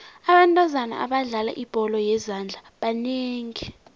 abentazana abadlala ibholo yezandla banengi